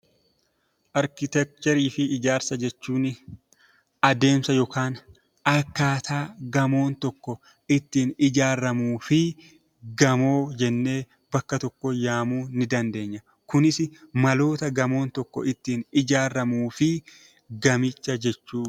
Arkiteekcharii fi ijaarsa jechuun adeemsa yookaan akkaataa gamoon tokko ittiin ijaaramuu fi gamoo jennee bakka tokkotti waamuu dandeenya. Kunis maloota gamoon tokko ittiin ijaaramuu fi gamicha jechuu dha.